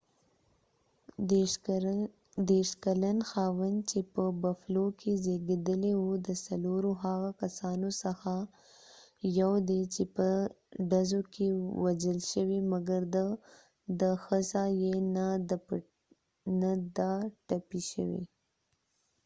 ديرش کلن خاوند چې په بفلو کې زیږیدلی و د څلورو هغه کسانو څخه یو دي چې په ډزو کې وژل شوي مګر د ښڅه یې نه ده ټپی شوي